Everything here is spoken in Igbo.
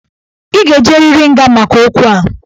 Ị ga-ejeriri nga maka okwu a.